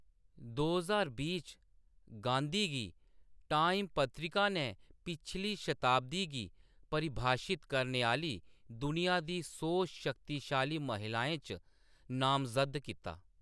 दो ज्हार बीह् च, गांधी गी टाइम पत्रिका ने पिछली शताब्दी गी परिभाषित करने आह्‌‌‌ली दुनिया दी सौ शक्तिशाली महिलाएं च नामज़द्द कीता।